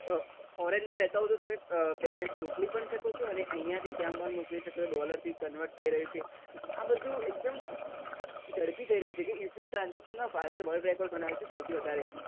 foreign માં રહેતા હોય તો તમે payment મુકલી પણ શકીએ અહિયાથી ત્યાં dollar થી convert થઇ રહ્યો છે આ બધું એક દમ ઝડપી થઇ રહ્યું છે UPI transaction માં ભારતે world record બનાયો છે સૌથી વધારે